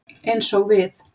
Eins og við.